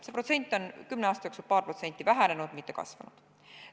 See protsent on kümne aasta jooksul paari võrra vähenenud, mitte kasvanud.